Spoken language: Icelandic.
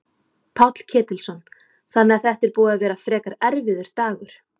Páll Ketilsson: Þannig að þetta er búið að vera frekar erfiður dagur?